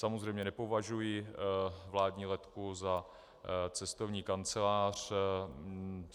Samozřejmě nepovažuji vládní letku za cestovní kancelář.